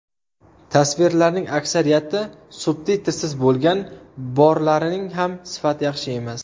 Tasvirlarning aksariyati subtitrsiz bo‘lgan, borlarining ham sifati yaxshi emas.